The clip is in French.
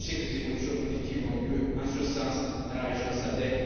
Je sais que des évolutions positives ont eu lieu en ce sens dans la région SADEC.